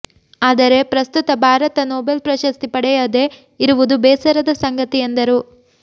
ಆದರೆ ಪ್ರಸ್ತುತ ಭಾರತ ನೊಬೆಲ್ ಪ್ರಶಸ್ತಿ ಪಡೆಯದೆ ಇರುವುದು ಬೇಸರದ ಸಂಗತಿ ಎಂದರು